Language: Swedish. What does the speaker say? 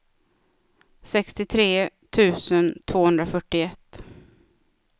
sextiotre tusen tvåhundrafyrtioett